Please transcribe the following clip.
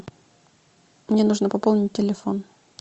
мне нужно пополнить телефон